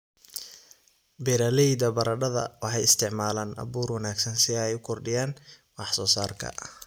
Beeralayda baradhada waxay isticmaalaan abuur wanaagsan si ay u kordhiyaan wax soo saarka.